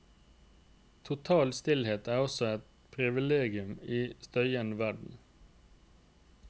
Total stillhet er også et privilegium i en støyende verden.